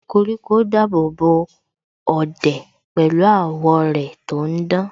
Koríko dábòbò ọ̀dẹ̀ pẹ̀lú àwọ́ rẹ̀ tò ń dán